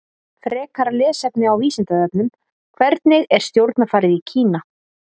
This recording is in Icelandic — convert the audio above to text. Frekara lesefni á Vísindavefnum: Hvernig er stjórnarfarið í Kína?